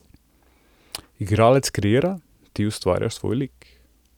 Igralec kreira, ti ustvarjaš svoj lik.